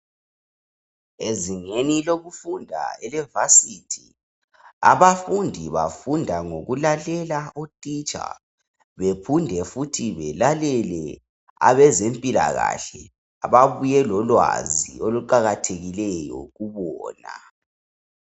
Ezingeni lokufunda elevasithi, abafundi bafunda ngokulalela othitsha. Bepinde futhi belalele abazemphilakahle ababuye lolwazi oluqakathekileyo kubona.